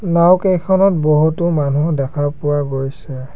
নাওঁ কেইখনত বহুতো মানুহ দেখা পোৱা গৈছে।